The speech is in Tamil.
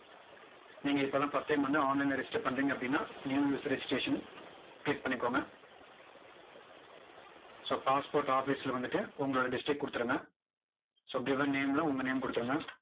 நீங்க இப்போ தான் first time வந்து online ல register பண்ணுறீங்க அப்படின்னா new regiteration click பண்ணிக்கோங்க. so passport office ல வந்துட்டு உங்களோட district கொடுத்துருங்க so given name ல உங்க name அ கொடுத்துருங்க.